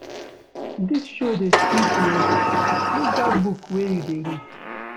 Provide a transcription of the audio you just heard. Dis show dey sweet o, leave dat book wey you dey read.